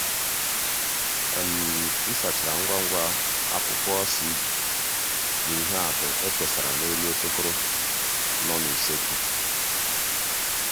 um m sachara ngwa ngwa—akwụkwọ cv na ihe atụ e kesara n’elu okpokoro nọ na usekwu.